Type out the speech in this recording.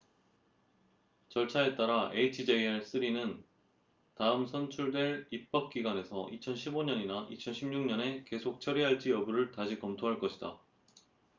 절차에 따라 hjr-3은 다음 선출될 입법 기관에서 2015년이나 2016년에 계속 처리할지 여부를 다시 검토할 것이다